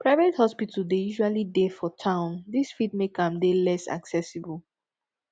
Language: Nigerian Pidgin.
private hospital dey usually dey for town this fit make am dey less accessible